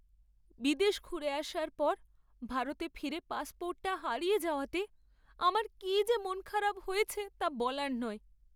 বিদেশ ঘুরে আসার পর ভারতে ফিরে পাসপোর্টটা হারিয়ে যাওয়াতে আমার কী যে মনখারাপ হয়েছে তা বলার নয়।